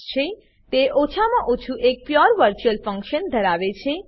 તે ઓછામાં ઓછું એક pure virtual function pure virtual function ધરાવે છે